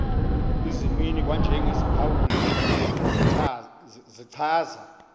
izimnini kwanjengeziphawuli zichaza